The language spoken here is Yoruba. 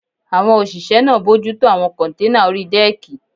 Àwọn òṣìṣẹ́ náà bojútó àwọn kọ́nténà orí dẹ́ẹ̀kì